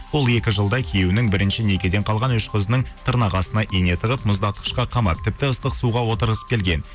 ол екі жылда күйеуінің бірінші некеден қалған үш қызының тырнақ астына ине тығып мұздатқышқа қамап тіпті ыстық суға отырғызып келген